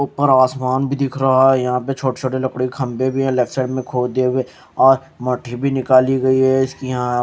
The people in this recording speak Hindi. ऊपर आसमान भी दिख रहा है यहां पे छोटे छोटे लकड़ी के खम्भे भी है लेफ्ट साइड में खोदे हुए आ माटी भी निकल गई है इसकी यहां --